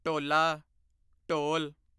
ਢੋਲਾ ਢੋਲ